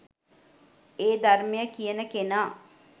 ඒ ධර්මය කියන කෙනා